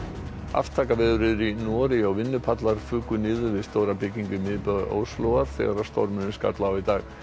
aftakaveður er í Noregi og vinnupallar fuku niður við stóra byggingu í miðbæ Óslóar þegar stormur skall á í dag